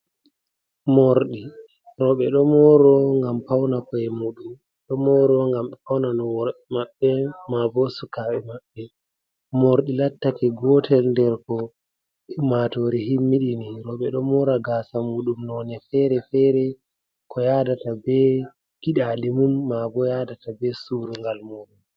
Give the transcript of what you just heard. Morɗi. Rooɓe ɗo mooro ngam pauna ko’e muuɗum. Ɗo mooro ngam ɓe pauna no worɓe maɓɓe maa bo sukaɓe maɓɓe. Morɗi lattake gootel nder ko ummatoore himmiɗini. Roɓe ɗo moora gaasa muuɗum none feere-feere ko yaadata be giɗaɗi mum, maa bo yaadata be surungal muuɗum.